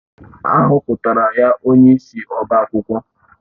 A họpụtara ya onyeisi ọbá akwụkwọ